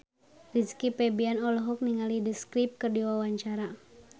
Rizky Febian olohok ningali The Script keur diwawancara